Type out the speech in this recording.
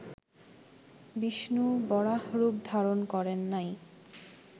বিষ্ণু বরাহরূপ ধারণ করেন নাই